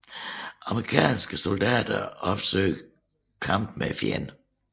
Amerikanske soldater opsøgte kamp med fjenden